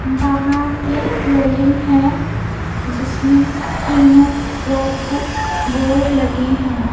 बाहर एक बिल्डिंग है जिसमें तीनों फ्लोर पर बोर्ड लगे हैं।